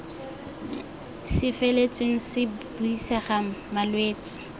se feletseng se buisega malwetse